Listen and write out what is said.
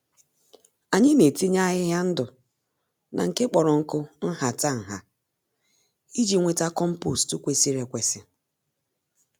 Anyị netinye ahịhịa ndụ na nke kpọrọ nkụ nhata-nha, iji nweta kompost kwesịrị ekwesị